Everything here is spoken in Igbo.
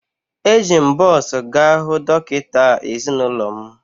Eji m bọs gaa hụ dọkịta ezinụlọ m